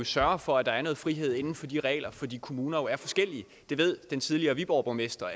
sørger for at der er noget frihed inden for de regler fordi kommuner jo er forskellige den tidligere viborgborgmester